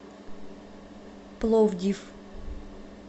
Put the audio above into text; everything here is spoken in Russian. пловдив